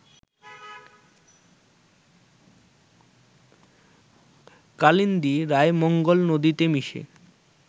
কালিন্দী রায়মঙ্গল নদীতে মিশে